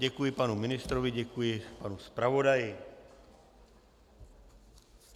Děkuji panu ministrovi, děkuji panu zpravodaji.